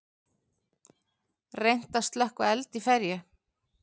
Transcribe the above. Reynt að slökkva eld í ferju